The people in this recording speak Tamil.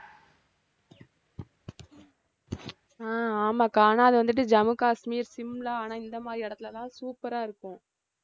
ஆஹ் ஆமாக்கா ஆனா அது வந்துட்டு ஜம்மு காஷ்மீர், சிம்லா ஆனா இந்த மாதிரி இடத்துலதான் super ஆ இருக்கும்